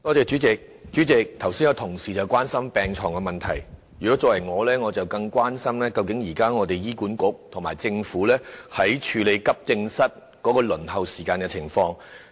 主席，同事剛才關心到病床的問題，我則更加關心醫管局和政府現時在處理急症室輪候時間的情況。